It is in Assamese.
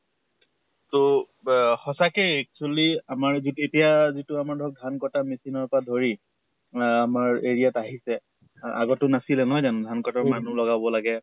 তʼ ৱে সঁচাকে actually আমাৰ যিটো এতিয়া যিটো আমাৰ ধৰক ধান কটা machine ৰ পৰা ধৰি আহ আমাৰ area ত আহিছে, আগত টো নাছিলে নহয় জানো ধান কটাৰ মানুহ লগাব লাগে